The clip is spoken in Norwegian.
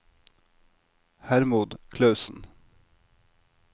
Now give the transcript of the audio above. Hermod Klausen